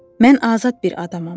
Mən azad bir adamam.